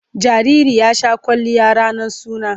Jariri ya sha kwalliya ranar suna.